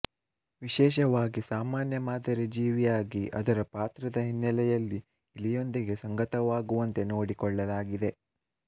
ವಿಶೇಷವಾಗಿ ಸಾಮಾನ್ಯ ಮಾದರಿ ಜೀವಿಯಾಗಿ ಅದರ ಪಾತ್ರದ ಹಿನ್ನೆಲೆಯಲ್ಲಿ ಇಲಿಯೊಂದಿಗೆ ಸಂಗತವಾಗುವಂತೆ ನೋಡಿಕೊಳ್ಳಲಾಗಿದೆ